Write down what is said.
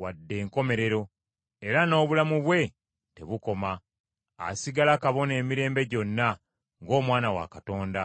wadde enkomerero, era n’obulamu bwe tebukoma. Asigala kabona emirembe gyonna, ng’Omwana wa Katonda.